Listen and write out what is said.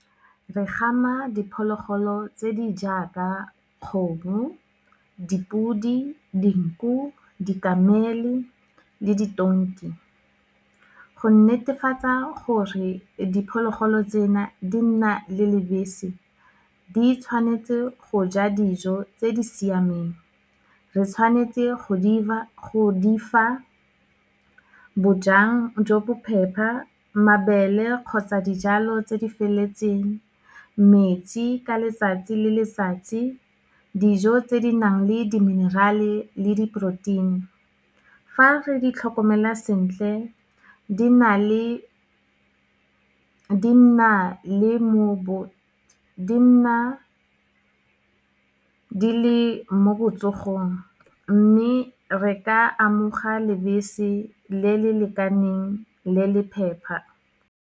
Re gama diphologolo tse di jaaka kgomo, dipudi, dinku dikamele le ditonki, go netefatsa gore diphologolo tsena di nna le lebese, di tshwanetse go ja dijo tse di siameng, re tshwanetse go di fa bojang jo bophepha, mabele kgotsa dijalo tse di feleletseng, metsi ka letsatsi le letsatsi, dijo tse di nang le di-mineral-e le di-protein-i, fa re di tlhokomela sentle di nna di le mo botsogong, mme re ka amoga lebese le le lekaneng le le phepa.